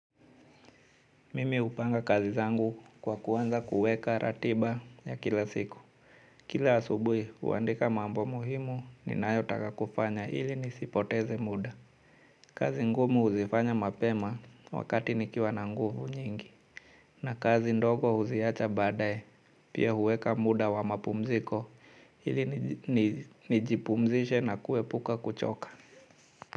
Mimi upanga kazi zangu kwa kuanza kuweka ratiba ya kila siku. Kila asubui uandika mambo muhimu ni nayo taka kufanya ili nisipoteze muda. Kazi ngumu uzifanya mapema wakati nikiwa na nguvu nyingi. Na kazi ndogo huziacha baadaye pia huweka muda wa mapumziko ili nijipumzishe na kue puka kuchoka.